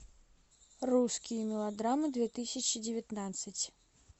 русские мелодрамы две тысячи девятнадцать